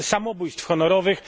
samobójstw honorowych.